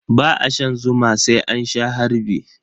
Ba a shan zuwa sai an sha harbi.